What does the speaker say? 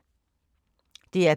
DR P3